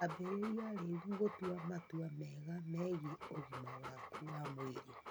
Ambĩrĩria rĩu gũtua matua mega megiĩ ũgima waku wa mwĩrĩ.